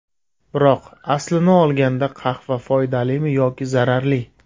Biroq, aslini olganda qahva foydalimi yoki zararli?